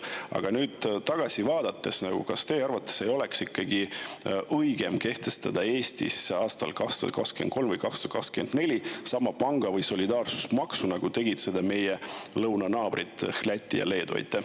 Aga tagasi vaadates: kas teie arvates ei oleks olnud ikkagi õigem kehtestada Eestis aastal 2023 või 2024 panga‑ või solidaarsusmaks, nagu tegid seda meie lõunanaabrid Läti ja Leedu?